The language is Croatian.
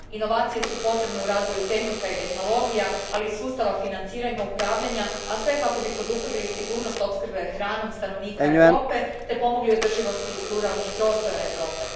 Inovacije su potrebne u razvoju tehnika i tehnologija, ali i sustava financiranja te svih razina upravljanja, a sve kako bi poduprli sigurnost opskrbe hranom stanovnika Europe te pomogli održivosti ruralnih prostora Europe.